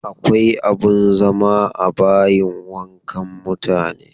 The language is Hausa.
Akwa abin zama a bayin wankan mutane.